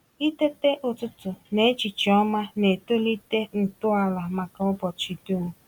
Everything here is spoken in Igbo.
Itete ụtụtụ na echiche ọma na-etolite ntọala maka ụbọchị dum.